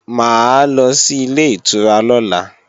Mà á lọ sí Ilé-ìtura lọ́la